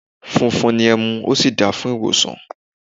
Funfun ni ẹmu, ó sì da fún ìwòsàn.